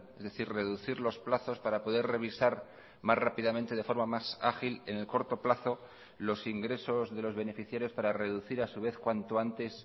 es decir reducir los plazos para poder revisar más rápidamente de forma más ágil en el corto plazo los ingresos de los beneficiarios para reducir a su vez cuanto antes